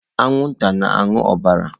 Anwụnta na-aṅụ ọbara.